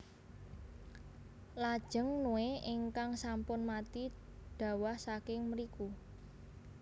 Lajeng nue ingkang sampun mati dhawah saking mriku